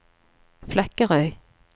Flekkerøy